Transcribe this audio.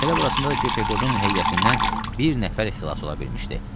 Məsələ burasındadır ki, Pekodun heyətindən bir nəfər xilas ola bilmişdi.